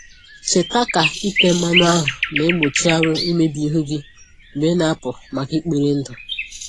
Cheta ka ite mmanụ ahụ na-egbochi anwụ imebi ihu gị mgbe ị na-apụ maka ikpori ndụ